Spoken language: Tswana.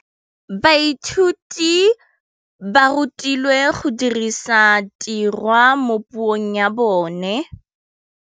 Baithuti ba rutilwe go dirisa tirwa mo puong ya bone.